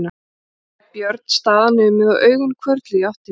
Þá lét Björn staðar numið og augun hvörfluðu í átt til mín.